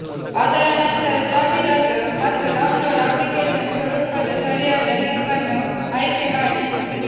ಅದರ ನಂತರ ಜಾಹೀರಾತು ಮತ್ತು ಡೌನ್ಲೋಡ್ ಅಪ್ಲಿಕೇಶನ್ ಸ್ವರೂಪದ ಸರಿಯಾದ ಲಿಂಕ್ ಅನ್ನು ಆಯ್ಕೆ ಮಾಡಿ